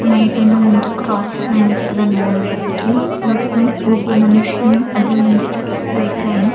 ಮೇಡಿನ ಒಂದು cross signs ಅದನ್ನಾ ನೋಡಬಹುದು ಒಬ್ಬ ಒಬ್ಬ ಮನುಷ್ಯನು ಅದ್ರ ಮುಂದೆ ಚಲಿಸ್ತಾ ಇದ್ದಾನೆ.